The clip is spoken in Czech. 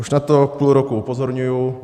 Už na to půl roku upozorňuji.